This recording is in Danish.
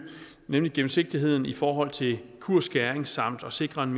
nemlig gennemsigtigheden i forhold til kursskæring samt at sikre en